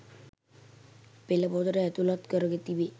පෙළ පොතට ඇතුළත් කර තිබේ.